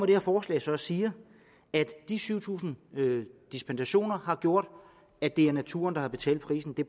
det her forslag og siger at de syv tusind dispensationer har gjort at det er naturen der har betalt prisen det